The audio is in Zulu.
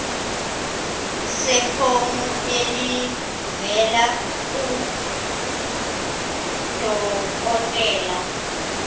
sefomu elivela kudokodela